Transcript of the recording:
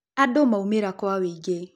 Andũ maumĩra kwa wĩngi